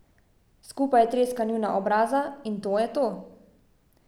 Skupaj treska njuna obraza, in to je to.